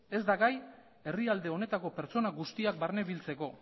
ez da gai herrialde honetako pertsona guztiak barnebiltzeko